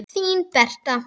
Þín Berta.